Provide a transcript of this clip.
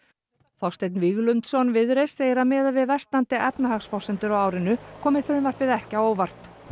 Þorsteinn Víglundsson Viðreisn segir að miðað við versnandi efnahagsforsendur á árinu komi frumvarpið ekki á óvart það